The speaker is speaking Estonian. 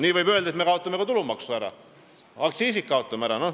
Nii võib öelda, et kaotame ka tulumaksu ära, kaotame aktsiisid ära.